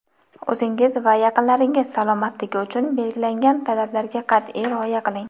O‘zingiz va yaqinlaringiz salomatligi uchun belgilangan talablarga qat’iy rioya qiling!.